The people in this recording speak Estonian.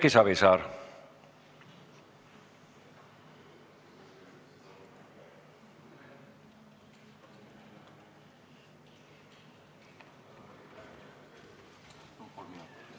Erki Savisaar.